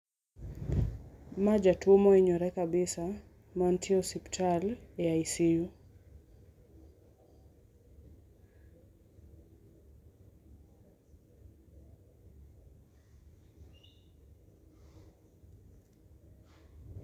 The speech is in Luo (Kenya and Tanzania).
Ma jatuo mohinyore kabisa, mantie osiptal, e ICU.